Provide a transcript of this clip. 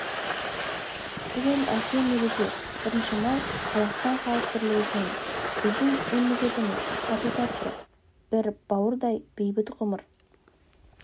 бүгін әсем мереке бірінші май қазақстан халқының бірлігі күні біздің мемлекетіміз тату-тәтті бір бауырдай бейбіт ғұмыр